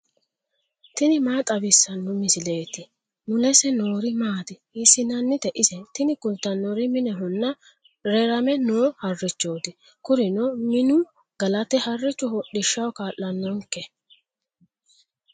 tini maa xawissanno misileeti ? mulese noori maati ? hiissinannite ise ? tini kultannori minehonna rerame no harrichooti. kurino minu galate harrichu hodhishshaho kaa'lannonke.